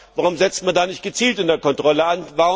Warum setzt man da nicht gezielt in der Kontrolle an?